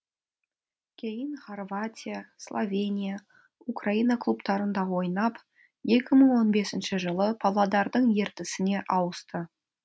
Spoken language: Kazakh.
кейін хорватия словения украина клубтарында ойнап екі мың он бесінші жылы павлодардың ертісіне ауысты